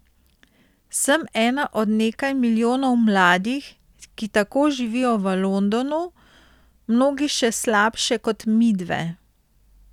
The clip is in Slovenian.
Sem ena od nekaj milijonov mladih, ki tako živijo v Londonu, mnogi še slabše kot midve.